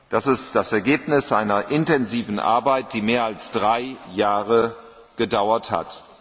Das ist das Ergebnis einer intensiven Arbeit, die mehr als drei Jahre gedauert hat.